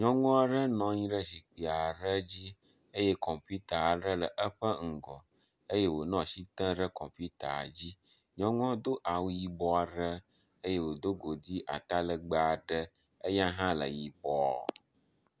Nyɔnu aɖe nɔ anyi ɖe zikpui aɖe dzi eye kɔmpita aɖe le eƒe ŋgɔ eye wonɔ asi tem ɖe kɔmpita dzi. Nyɔnua do awu yibɔ aɖe eye wodo godui atalegbẽ aɖe eye hã le yibɔ.